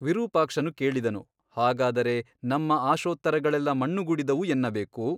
ವಿರೂಪಾಕ್ಷನು ಕೇಳಿದನು ಹಾಗಾದರೆ ನಮ್ಮ ಆಶೋತ್ತರಗಳೆಲ್ಲ ಮಣ್ಣುಗೂಡಿದವು ಎನ್ನಬೇಕು ?